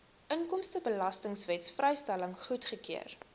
inkomstebelastingwet vrystelling goedgekeur